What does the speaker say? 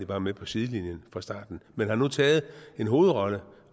bare med på sidelinjen fra starten men har nu indtaget en hovedrolle